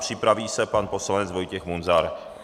Připraví se pan poslanec Vojtěch Munzar.